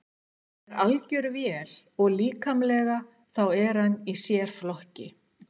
Hann er algjör vél og líkamlega þá er hann í sérflokki.